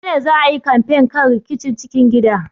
A gobe ne za a yi kamfen kan rikicin cikin gida.